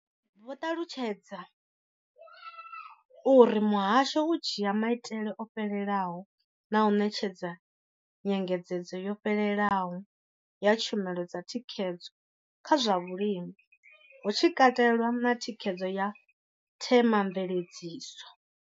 Vho ṱalutshedza uri muhasho u dzhia maitele o fhelelaho na u ṋetshedza nyengedzedzo yo fhelelaho ya tshumelo dza thikhedzo kha zwa vhulimi, hu tshi katelwa na thikhedzo ya themamveledziso.